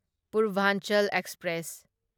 Purvanchal express